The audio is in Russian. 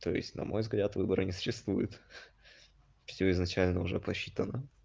то есть на мой взгляд выбора не существует всё изначально уже просчитано